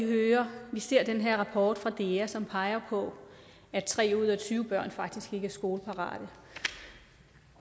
ser den her rapport fra dea som peger på at tre ud af tyve børn faktisk ikke er skoleparate